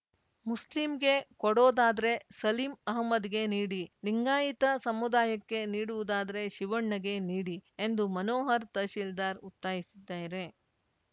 ಮುಸ್ಲಿಂಗೆ ಕೊಡೋದಾದ್ರೆ ಸಲೀಂ ಅಹಮದ್‌ಗೆ ನೀಡಿ ಲಿಂಗಾಯತ ಸಮುದಾಯಕ್ಕೆ ನೀಡುವುದಾದರೆ ಶಿವಣ್ಣಗೆ ನೀಡಿ ಎಂದು ಮನೋಹರ್‌ ತಹಸೀಲ್ದಾರ್‌ ಒತ್ತಾಯಿಸಿದ್ದಾರೆ